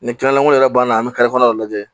Ni kɛnɛlankolon yɛrɛ banna an bɛ kɔnɔ lajɛ